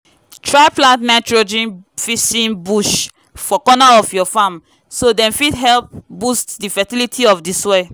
try plant nitrogen-fixing bush for corner of your farm so dem fit help boost di fertility of di soil